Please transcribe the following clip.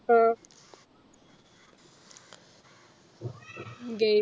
game